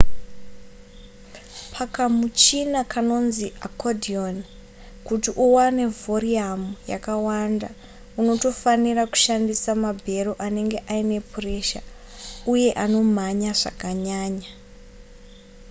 pakamuchina kanonzi accordion kuti uwane vhoriyamu yakawanda unotofanira kushandisa mabhero anenge aine puresha uye anomhanya zvakanyanya